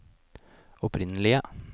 opprinnelige